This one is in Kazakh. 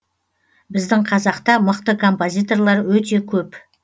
біздің қазақта мықты композиторлар өте көп